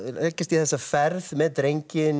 leggjast í þessa ferð með drenginn